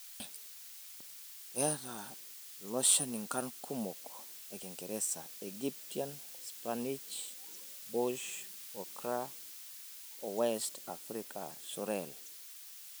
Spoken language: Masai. Keata iloshani nkarn kumok ekingeresa; Egyptian spinach, bush okra oo west African sorrel.